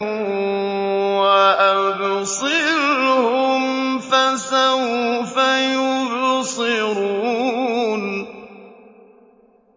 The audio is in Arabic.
وَأَبْصِرْهُمْ فَسَوْفَ يُبْصِرُونَ